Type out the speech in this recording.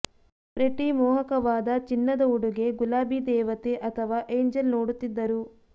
pretty ಮೋಹಕವಾದ ಚಿನ್ನದ ಉಡುಗೆ ಗುಲಾಬಿ ದೇವತೆ ಅಥವಾ ಏಂಜೆಲ್ ನೋಡುತ್ತಿದ್ದರು